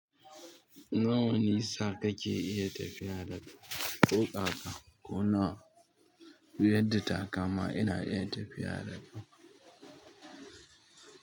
Nawa nisa kake iya tafiya daga ko ƙaƙa ko na wani abu. Duk yanda ta kama ina iya tafiya na.